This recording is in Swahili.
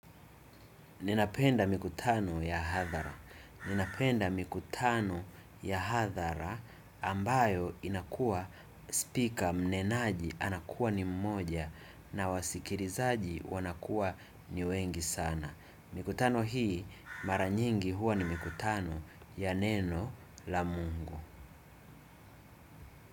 Ninapenda mikutano ya hadhara ambayo inakua speaker mnenaji anakuwa ni mmoja na wasikilizaji wanakuwa ni wengi sana. Mikutano hii maranyingi huwa ni mikutano ya neno la mungu.